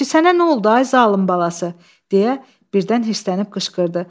Əşi, sənə nə oldu ay zalım balası, deyə birdən hırsənib qışqırdı.